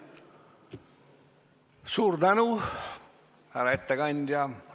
Suur tänu, härra ettekandja!